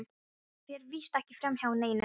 Það fer víst ekki framhjá neinum.